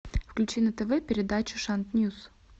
включи на тв передачу шант ньюс